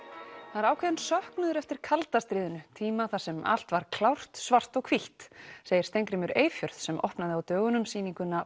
það er ákveðinn söknuður eftir kalda stríðinu tíma þar sem allt var klárt svart og hvítt segir Steingrímur Eyfjörð sem opnaði á dögunum sýninguna